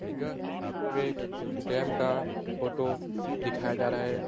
यह एक डैम का फ़ोटो दिखाया जा रहा है।